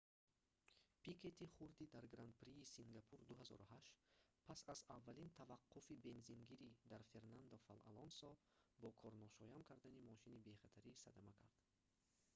пикети хурдӣ дар гран-прии сингапур-2008 пас аз аввалин таваққуфи бензингирӣ дар фернандо алонсо бо корношоям кардани мошини бехатарӣ садама кард